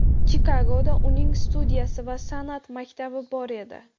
Chikagoda uning studiyasi va san’at maktabi bor edi.